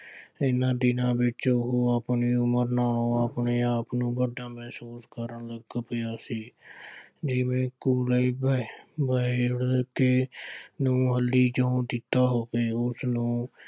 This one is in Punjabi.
ਇਹਨਾ ਦਿਨਾਂ ਵਿੱਚ ਉਹ ਆਪਣੀ ਉਮਰ ਨਾਲੋਂ ਆਪਣੇ ਆਪ ਨੂੰ ਵੱਡਾ ਮਹਿਸੂਸ ਕਰਨ ਲੱਗ ਪਿਆ ਸੀ। ਜਿਵੇਂ ਕੇ ਚੋਂ ਦਿੱਤਾ ਹੋਵੇ, ਉਸਨੂੰ